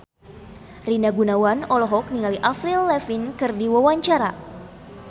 Rina Gunawan olohok ningali Avril Lavigne keur diwawancara